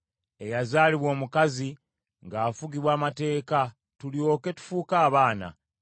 eyazaalibwa omukazi ng’afugibwa amateeka, tulyoke tufuuke abaana.